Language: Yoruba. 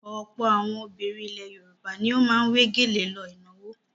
Ọ̀pọ̀ àwọn obìnrin ilẹ̀ Yorùbá ni ó máa ń wé gèlè lọ ìnáwó.